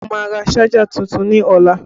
Mo máa rà ṣájà tuntun ní ọlá